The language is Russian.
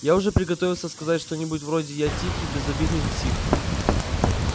я уже приготовился сказать что-нибудь вроде я тихий безобидный псих